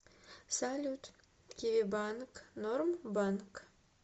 салют киви банк норм банк